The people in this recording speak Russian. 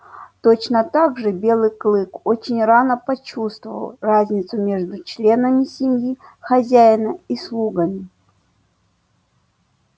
точно так же белый клык очень рано почувствовал разницу между членами семьи хозяина и слугами